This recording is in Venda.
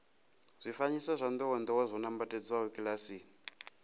zwifanyiso zwa ndowendowe zwo nambatsedzwa kilasini